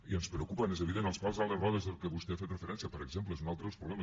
i ens preocupen és evident els pals a les rodes a què vostè ha fet referència per exemple és un altre dels problemes